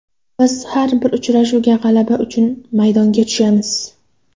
Biz har bir uchrashuvga g‘alaba uchun maydonga tushamiz.